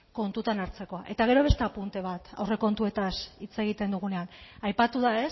kontutan hartzekoa eta gero beste apunte bat aurrekontuetaz hitz egiten dugunean aipatu da